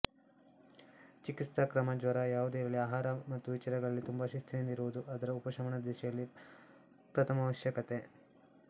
ಚಿಕಿತ್ಸಕ್ರಮ ಜ್ವರ ಯಾವುದೇ ಇರಲಿ ಆಹಾರ ಮತ್ತು ವಿಚಾರಗಳಲ್ಲಿ ತುಂಬ ಶಿಸ್ತ್ರಿನಿಂದ ಇರುವುದು ಅದರ ಉಪಶಮನದ ದಿಶೆಯಲ್ಲಿ ಪ್ರಥಮಾವಶ್ಯಕತೆ